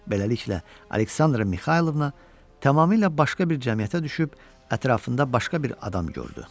Beləliklə, Aleksandra Mixaylovna tamamilə başqa bir cəmiyyətə düşüb ətrafında başqa bir adam gördü.